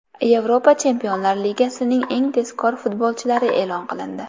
Yevropa Chempionlar Ligasining eng tezkor futbolchilari e’lon qilindi.